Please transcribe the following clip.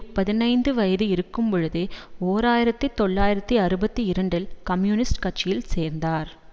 பதினைந்து வயது இருக்கும்பொழுதே ஓர் ஆயிரத்தி தொள்ளாயிரத்தி அறுபத்தி இரண்டில் கம்யூனிஸ்ட் கட்சியில் சேர்ந்தார்